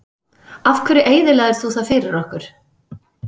Af hverju eyðilagðir þú það fyrir okkur?